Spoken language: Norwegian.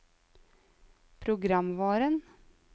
programvaren